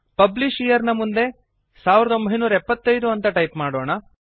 publisher ನ ಮುಂದೆ 1975 ಅಂತ ಟೈಪ್ ಮಾಡೋಣ